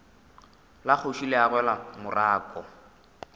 la kgoši le agelwa morako